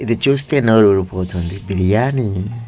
ఇది చూస్తే నోరు ఊరిపోతుంది బిర్యానీ.